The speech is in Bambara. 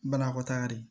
Banakɔtaga de